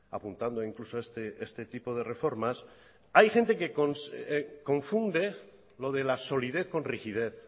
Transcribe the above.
apuntando incluso este tipo de reformas hay gente que confunde lo de la solidez con rigidez